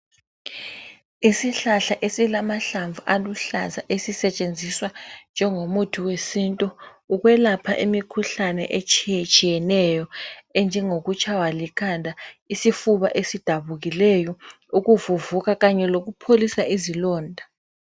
Isihlahla esilamahlamvu aluhlaza esisetshenziswa njengomuthi wesintu ukwelapha imikhuhlane etshiyetshiyeneyo enjengokutshaywa likhanda, isifuba esidabukileyo, ukuvuvuka kanye lokupholisa izilonda.